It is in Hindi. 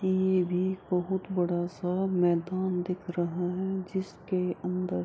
ई ये भी बहुत बड़ा सा मैदान दिख रहा है जिसके अंदर --